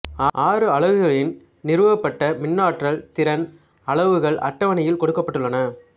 ஆறு அலகுகளின் நிறுவப்பட்ட மின்னாற்றல் திறன் அளவுகள் அட்டவணையில் கொடுக்கப்பட்டுள்ளன